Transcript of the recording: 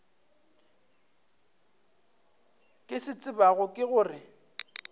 ke se tsebago ke gore